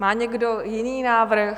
Má někdo jiný návrh?